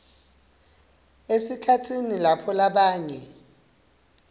esikhatsini lapho labanye